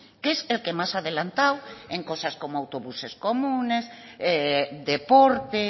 que es el que más ha adelantado en cosas como autobuses comunes deporte